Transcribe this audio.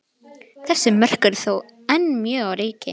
Þessi mörk eru þó enn mjög á reiki.